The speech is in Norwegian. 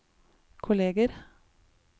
kolleger